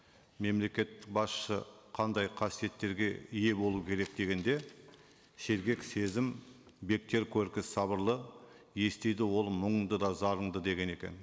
мемлекеттік басшы қандай қасиеттерге ие болу керек дегенде сергек сезім бектер көркі сабырлы естиді ол мұңыңды да зарыңды деген екен